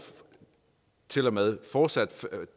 til og med fortsat